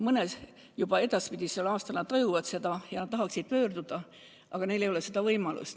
Mõni aasta edasi nad juba tajuvad seda ja tahaksid abi küsida, aga neil ei ole seda võimalust.